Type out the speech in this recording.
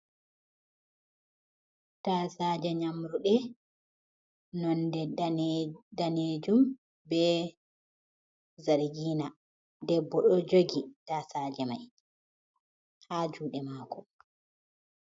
Tasaje nyamruɗe nonde danejum be zarigina. Debbo ɗo jogi tasaje mai ha juɗe mako.